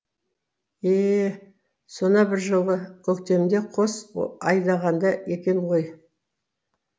е е сона бір жылы көктемде қос айдағанда екен ғой